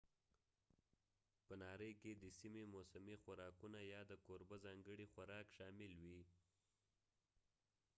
په ناری کې د سیمې موسمي خوراکونه یا د کوربه ځانګړي خوراک شامل وي